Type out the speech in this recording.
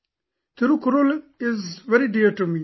'Thirukkural' is very dear to me